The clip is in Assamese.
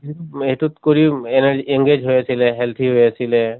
উম সেইটোত কৰিও energy. engage হৈ আছিলে, healthy হৈ আছিলে